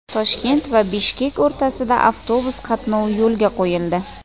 Toshkent va Bishkek o‘rtasida avtobus qatnovi yo‘lga qo‘yildi.